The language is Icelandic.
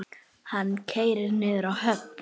Hann keyrir niður að höfn.